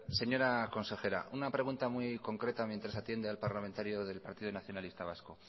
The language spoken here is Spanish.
señora consejera una pregunta muy concreta mientras atiende al parlamentario del partido nacionalista vasco